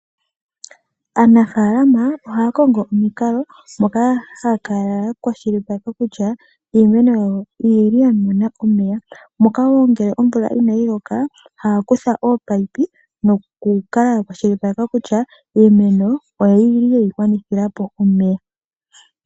Aanafalama ohaya kongo omukalo moka haya kala ya kwashilipaleka kutya iimeno yawo oyili ya mona omeya, moka woo ngele omvula inayi loka ohaa kutha oo paipi nokukala ya kwashilipaleka kutya iimeno oyili yeyi gwanithilapo omeya.